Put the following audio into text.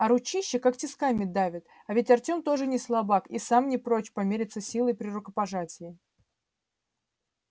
а ручища как тисками давит а ведь артем тоже не слабак и сам не прочь померяться силой при рукопожатии